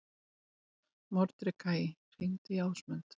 Mordekaí, hringdu í Ásmund.